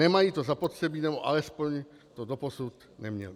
Nemají to zapotřebí, nebo alespoň to doposud neměli.